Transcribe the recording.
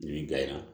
Nin ka ɲi